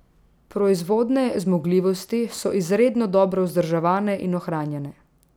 Proizvodne zmogljivosti so izredno dobro vzdrževane in ohranjene.